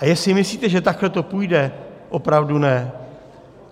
A jestli myslíte, že takhle to půjde, opravdu ne!